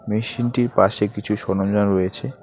মেশিনটির পাশে কিছু সরঞ্জাম রয়েছে।